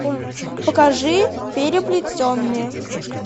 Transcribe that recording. покажи переплетенные